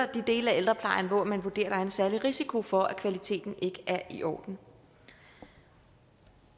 dele af ældreplejen hvor man vurderer der er en særlig risiko for at kvaliteten ikke er i orden